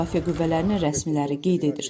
İsrail Müdafiə Qüvvələrinin rəsmiləri qeyd edir.